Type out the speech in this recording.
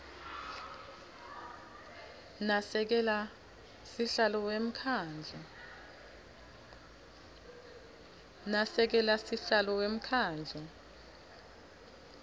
nasekela sihlalo wemkhandlu